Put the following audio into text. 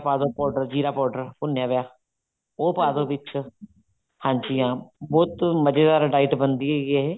powder ਜ਼ੀਰਾ powder ਭੁੰਨਿਆ ਹੋਇਆ ਉਹ ਪਾਦੋ ਵਿੱਚ ਹਾਂਜੀ ਹਾਂ ਬਹੁਤ ਮਜ਼ੇਦਾਰ diet ਬਣਦੀ ਹੈਗੀ ਇਹ